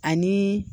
Ani